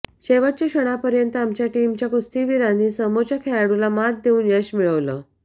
शेवटच्या क्षणापर्यंत आमच्या टीमच्या कुस्तीवीरांनी समोरच्या खेळाडूला मात देऊन यश मिळवलं